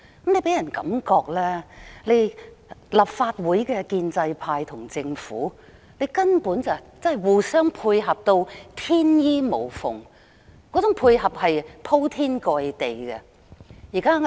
這予人的感覺，是立法會的建制派與政府根本互相配合，而且配合得天衣無縫、鋪天蓋地。